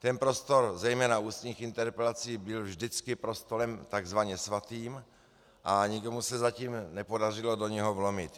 Ten prostor zejména ústních interpelací byl vždycky prostorem takzvaně svatým a nikomu se zatím nepodařilo do něho vlomit.